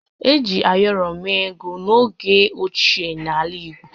Eji ayọrọ mee ego n’oge ochie n’ala Igbo